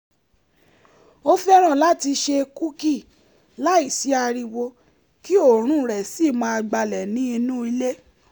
ó fẹ́ràn láti se kúkì láìsí ariwo kí òórùn rẹ̀ sì máa gbalẹ̀ ní inúulé